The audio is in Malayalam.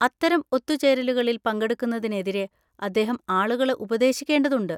അത്തരം ഒത്തുചേരലുകളിൽ പങ്കെടുക്കുന്നതിനെതിരെ അദ്ദേഹം ആളുകളെ ഉപദേശിക്കേണ്ടതുണ്ട്.